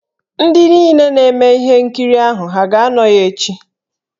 Ndị niile na-eme ihe nkiri ahụ ha aga-anọ ya echị?